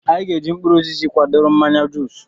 Anyị ga eji mkpụrụ osisi kwadoro mmanya juus